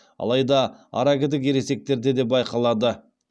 алайда аракідік ересектерде де байқалады